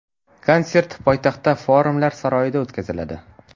Konsert poytaxtdagi Forumlar saroyida o‘tkaziladi.